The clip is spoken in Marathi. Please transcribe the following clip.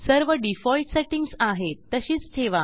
सर्व डिफॉल्ट सेटिंग्ज आहेत तशीच ठेवा